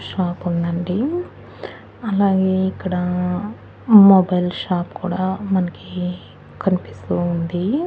Shop ఉందండి అలాగే ఇక్కడ మొబైల్ షాప్ కూడా మనకి కనిపిస్తూ ఉంది.